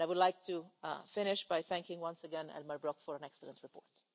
I would like to finish by thanking once again Elmar Brok for an excellent report.